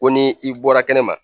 Ko ni i bɔra kɛnɛ ma